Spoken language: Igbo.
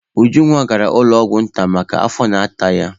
Ujunwa gara ụlọ ọgwụ nta maka afọ na-ata ya.